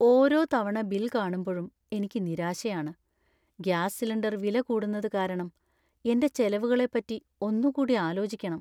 ഓരോ തവണ ബിൽ കാണുമ്പഴും എനിക്ക് നിരാശയാണ്. ഗ്യാസ് സിലിണ്ടർ വില കൂടുന്നത് കാരണം എന്‍റെ ചെലവുകളെപ്പറ്റി ഒന്നുകൂടി ആലോചിക്കണം.